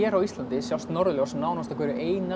á Íslandi sjást norðurljós nánast á hverju